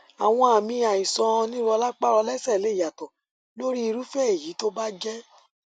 àwọn àmì àìsànìrọlápá rọlẹsẹ lè yàtọ lórí irúfẹ èyí tó bá jẹ